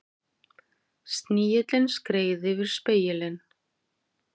Snigillinn skreið yfir spegilinn.